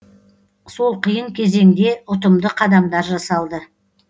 сол қиын кезеңде ұтымды қадамдар жасалды